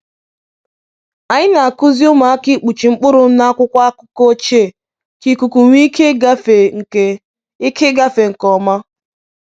Anyị na-akụzi ụmụaka ịkpuchi mkpụrụ n’akwụkwọ akụkọ ochie ka ikuku nwee ike ịgafe nke ike ịgafe nke ọma.